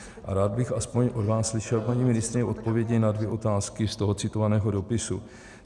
A rád bych aspoň od vás slyšel, paní ministryně, odpovědi na dvě otázky z toho citovaného dopisu.